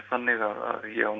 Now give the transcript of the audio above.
þannig að ég á